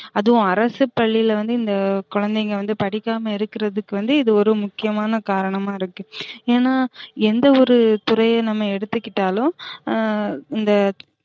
அதுவும் அரசு பள்ளில வந்து இந்த குழந்தைங்க வந்து படிக்காம இருக்குறதுக்கு வந்து இது ஒரு முக்கியமான கரணமா இருக்கு ஏனா எந்த ஒரு துறைய நம்ம எடுத்துகிட்டலும் ஆஹ் இந்த